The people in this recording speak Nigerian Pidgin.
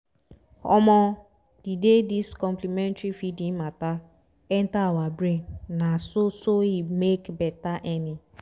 omo! the day this complementary feeding matter enter our brain na so so e make betta eaning